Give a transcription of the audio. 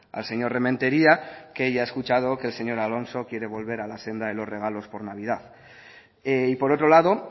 al señor rementeria que ya ha escuchado que el señor alonso quiere volver a la senda de los regalos por navidad y por otro lado